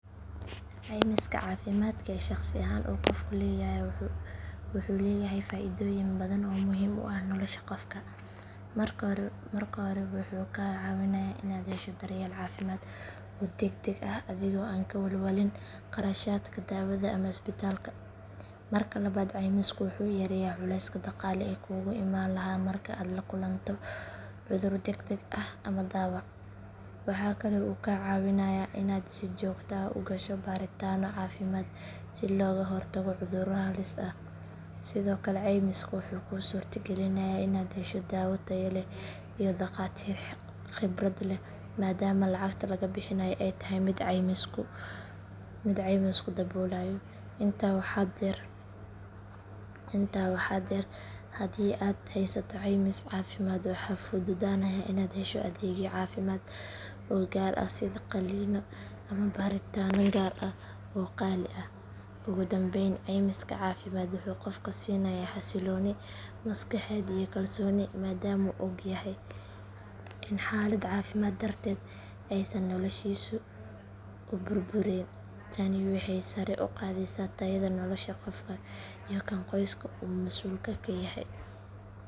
Caymiska caafimaadka ee shakhsi ahaan uu qofku leeyahay wuxuu leeyahay faaidooyin badan oo muhiim u ah nolosha qofka. Marka hore wuxuu kaa caawinayaa inaad hesho daryeel caafimaad oo degdeg ah adigoo aan ka walwalin qarashaadka daawada ama isbitaalka. Marka labaad caymisku wuxuu yareeyaa culayska dhaqaale ee kugu imaan lahaa marka aad la kulanto cudur degdeg ah ama dhaawac. Waxaa kale oo uu kaa caawinayaa inaad si joogto ah u gasho baaritaanno caafimaad si looga hortago cudurro halis ah. Sidoo kale caymiska wuxuu kuu suurta gelinayaa inaad hesho daawo tayo leh iyo dhakhaatiir khibrad leh maadaama lacagta laga bixinayo ay tahay mid ay caymisku daboolayo. Intaa waxaa dheer haddii aad haysato caymis caafimaad waxaa fududaanaya inaad hesho adeegyo caafimaad oo gaar ah sida qalliino ama baaritaanno gaar ah oo qaali ah. Ugu dambayn caymiska caafimaad wuxuu qofka siinayaa xasilooni maskaxeed iyo kalsooni maadaama uu ogyahay in xaalad caafimaad darteed aysan noloshiisu u burburayn. Tani waxay sare u qaadaysaa tayada nolosha qofka iyo kan qoyska uu masuulka ka yahay.